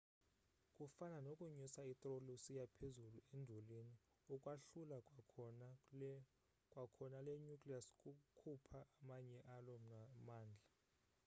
kufana nokunyusa itroli usiya phezulu endulini ukwahlula kwakhona le nucleus kukhupha amanye alo mandla